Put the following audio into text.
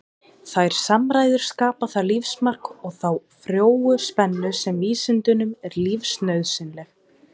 Þær samræður skapa það lífsmark og þá frjóu spennu sem vísindunum er lífsnauðsynleg.